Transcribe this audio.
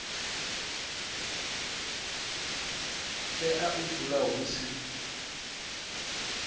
tea u dzula hu si